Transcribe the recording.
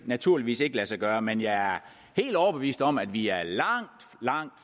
naturligvis ikke lade sig gøre men jeg er helt overbevist om at vi er langt langt